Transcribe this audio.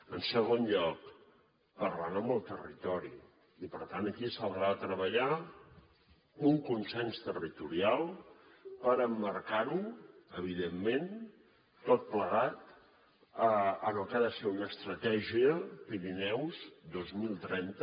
en segon lloc parlant amb el territori i per tant aquí s’haurà de treballar un consens territorial per emmarcar ho evidentment tot plegat en el que ha de ser una estratègia pirineus dos mil trenta